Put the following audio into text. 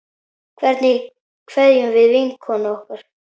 Hvernig kveðjum við vinkonu okkar?